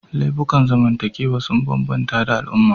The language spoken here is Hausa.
Laifukan zamantakewa sun bambanta da al'umma